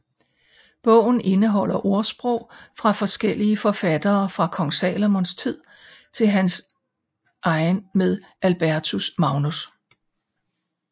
Bogen indeholder ordsprog fra forskellige forfattere fra Kong Salomons tid til næsten hans egen med Albertus Magnus